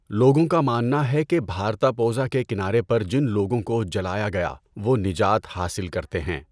لوگوں کا ماننا ہے کہ بھارتاپوژا کے کنارے پر جن لوگوں کو جلایا گیا وہ نجات حاصل کرتے ہیں۔